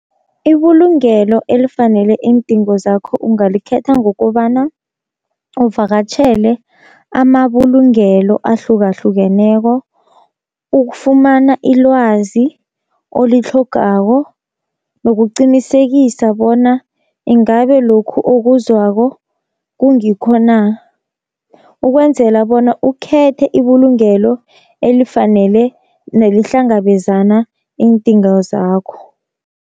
Ibulungelo elifanele iindingo zakho ungalikhetha ngokobana uvakatjhele amabulungelo ahlukahlukeneko, ukufumana ilwazi olitlhogako nokuqinisekisa bona ingabe lokhu okuzwako kungikho na, ukwenzela bona ukhethe ibulungelo elifanele nelihlangabezana iindingo zakho.